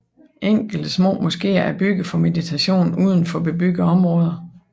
Enkelte små moskeer er bygget for meditation uden for bebyggede områder